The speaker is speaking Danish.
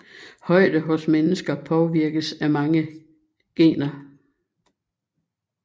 Højde hos mennesker påvirkes af mange gener